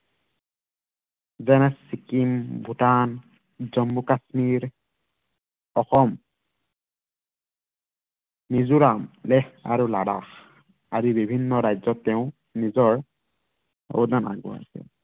যেনে, চিক্কিম, ভূটান, জম্মু কাশ্মীৰ, অসম মিজোৰাম, লেহ আৰু লাডাখ, আদি বিভিন্ন ৰাজ্য়ত তেওঁ নিজৰ অৱদান, আগবঢ়াইছে।